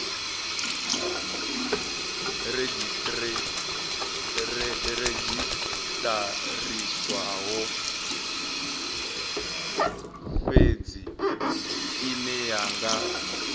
redzhisiṱarisiwaho fhedzi ine ya nga